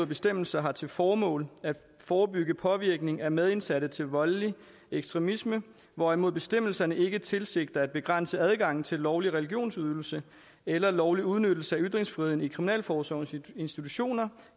bestemmelser har til formål at forebygge påvirkning af medindsatte til voldelig ekstremisme hvorimod bestemmelserne ikke tilsigter at begrænse adgangen til lovlig religionsudøvelse eller lovlig udnyttelse af ytringsfriheden i kriminalforsorgens institutioner